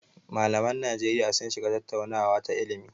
Malaman Najeriya sun shiga tattaunawa ta ilimi.